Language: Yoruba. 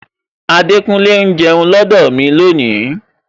Adekunle ń jẹun lọdọ mi lónìí